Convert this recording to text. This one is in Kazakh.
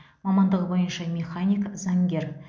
мамандығы бойынша механик заңгер